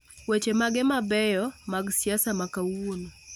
Weche mage maqbeyo mag siasa ma kawuono